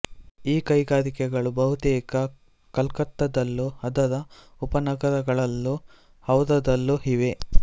ಈ ಕೈಗಾರಿಕೆಗಳು ಬಹುತೇಕ ಕಲ್ಕತ್ತದಲ್ಲೂ ಅದರ ಉಪನಗರಗಳಲ್ಲೂ ಹೌರಾದಲ್ಲೂ ಇವೆ